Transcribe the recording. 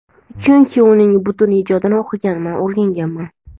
chunki uning butun ijodini o‘qiganman, o‘rganganman.